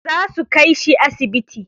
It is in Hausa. Zasu kai shi asibiti.